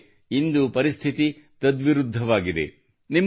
ಆದರೆ ಇಂದು ಪರಿಸ್ಥಿತಿ ತದ್ವಿರುದ್ಧವಾಗಿದೆ